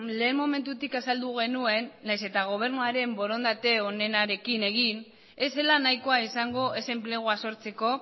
lehen momentutik azaldu genuen nahiz eta gobernuaren borondate onenarekin egin ez zela nahikoa izango ez enplegua sortzeko